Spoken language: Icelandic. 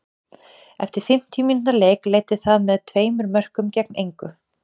Eftir fimmtíu mínútna leik leiddi það með tveimur mörkum gegn engu.